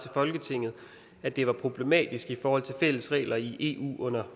folketinget at det var problematisk i forhold til fælles regler i eu under